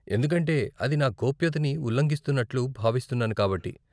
ఎందుకంటే అది నా గోప్యతని ఉల్లంఘిస్తున్నట్లు భావిస్తున్నాను కాబట్టి.